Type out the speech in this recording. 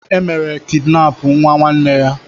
E mere kidinapụ nwa nwanne ya.